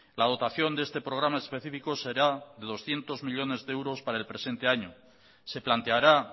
la dotación de este programa específico será de doscientos millónes de euros para el presente año se planteará